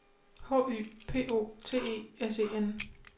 H Y P O T E S E N